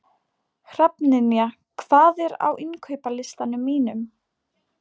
Hrafnynja, hvað er á innkaupalistanum mínum?